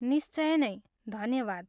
निश्चय नै, धन्यवाद।